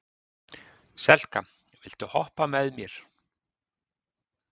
Selka, viltu hoppa með mér?